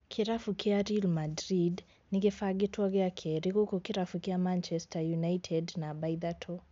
Kĩrabu kĩa Real Madrid nĩgĩbangĩtwo gĩa kerĩ gũkũ kĩrabu kĩa Manchester United namba ithatũ